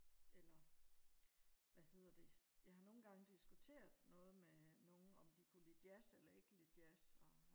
eller hvad hedder det jeg har nogen gange diskuteret noget med nogen om de kunne lide jazz eller ikke kan lide jazz og